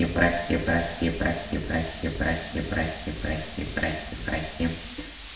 прости прости прости прости прости прости прости прости прости